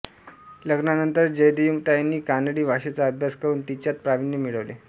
लग्नानंतर जयदेवीताईंनी कानडी भाषेचा अभ्यास करून तिच्यात प्रावीण्य मिळविले